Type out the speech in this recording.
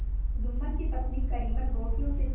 जुम्मन की पत्नी करीमन रोटियों के साथ